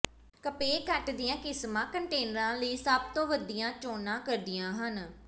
compact ਦੀਆਂ ਕਿਸਮਾਂ ਕੰਟੇਨਰਾਂ ਲਈ ਸਭ ਤੋਂ ਵਧੀਆ ਚੋਣਾਂ ਕਰਦੀਆਂ ਹਨ